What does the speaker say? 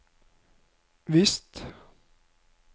visst